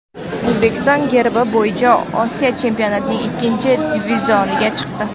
O‘zbekiston regbi bo‘yicha Osiyo chempionatining ikkinchi divizioniga chiqdi.